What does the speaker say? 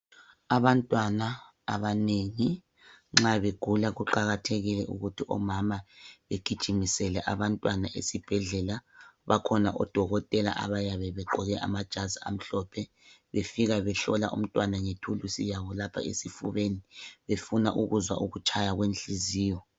Abantwana abanengi nxa begula kuqakathekile ukuthi omama begijimisele abantwana esibhedlela .Bakhona odokotela abayabe begqoke amajazi amhlophe befika behlola umntwana ngethulisi yabo lapha esifubeni befuna ukuzwa ukutshaya kwenhliziyo .